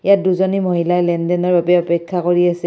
ইয়াত দুজনী মহিলাই লেনদেনৰ বাবে অপেক্ষা কৰি আছে।